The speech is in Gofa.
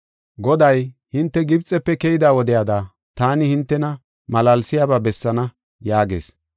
Goday, “Hinte Gibxepe keyida wodiyada taani hintena malaalsiyaba bessaana” yaagees.